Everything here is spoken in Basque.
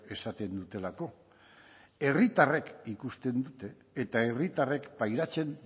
esaten dutelako herritarrek ikusten dute eta herritarrek pairatzen